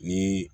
Ni